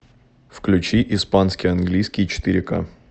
включи испанский английский четыре ка